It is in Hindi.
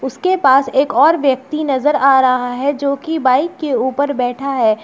उसके पास एक और व्यक्ति नजर आ रहा है जो कि बाइक के ऊपर बैठा है।